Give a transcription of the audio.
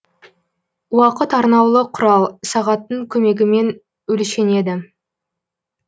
уақыт арнаулы кұрал сағаттың көмегімен өлшенеді